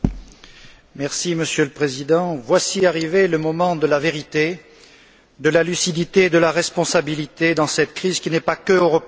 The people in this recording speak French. Monsieur le Président, voici arrivé le moment de la vérité, de la lucidité et de la responsabilité dans cette crise qui n'est pas qu'européenne mais également mondiale.